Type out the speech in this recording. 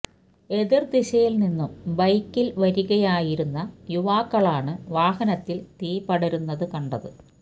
എതിര് ദിശയില് നിന്നും ബൈക്കില് വരികയായിരുന്ന യുവാക്കളാണ് വാഹനത്തില് തീ പടരുന്നത് കണ്ടത്